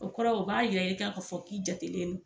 O kɔrɔ u b'a yira k'a fɔ k'i jatelen do.